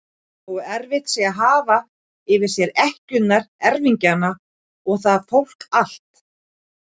Nógu erfitt sé að hafa yfir sér ekkjurnar, erfingjana og það fólk allt!